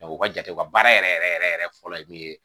u ka jate u ka baara yɛrɛ yɛrɛ yɛrɛ yɛrɛ yɛrɛ fɔlɔ ye min ye